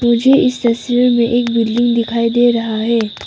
मुझे इस तस्वीर में एक बिल्डिंग दिखाई दे रहा है।